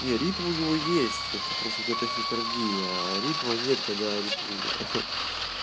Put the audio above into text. не ритм у него есть это просто у него тахикардия а ритма нет когда аритмия ха